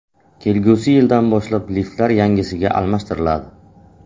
Kelgusi yildan boshlab liftlar yangisiga almashtiriladi.